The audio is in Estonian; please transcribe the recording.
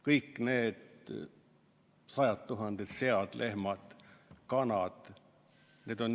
Kõik need sajad tuhanded sead, lehmad ja kanad ...